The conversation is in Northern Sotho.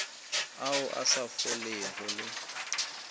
ao a sa folego le